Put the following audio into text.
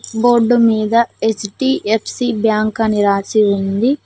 Board మీద HDFC bank అని రాసి ఉంది.